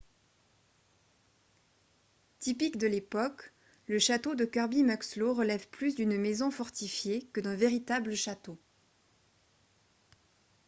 typique de l'époque le château de kirby muxloe relève plus d'une maison fortifiée que d'un véritable château